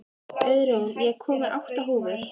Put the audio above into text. Auðrún, ég kom með átta húfur!